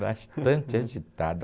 Bastante agitada.